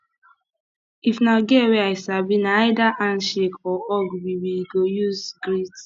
if na girl wey i sabi na either handshake or hug we we go use greet